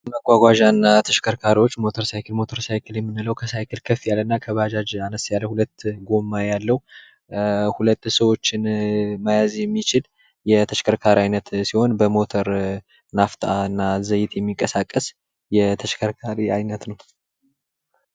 መጓጓዣና ተሽከርካሪዎች ሞተር ሳይክል:- ሞተር ሳይክል የምንለዉ ከሳይክል ከፍ ያለ እና ከባጃጅ አነስ ያለ ሁለት ጎማ ያለዉ ሁለት ሰዎችን መያዝ የሚችል የተሽከርካሪ አይነት ሲሆን በሞተር ናፍጣ እና ዘይት የሚንቀሳቀስ የተሽከርካሪ አይነት ነዉ።